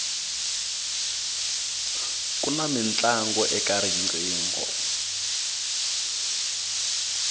kuna mintlangu eka riqingho